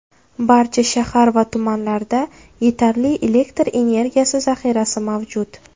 Barcha shahar va tumanlarda yetarli elektr energiyasi zahirasi mavjud.